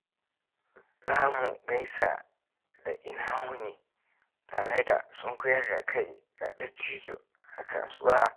Za mu gaisa da "Ina wuni?" tare da sunkuyar da kai ga dattijo a kasuwa.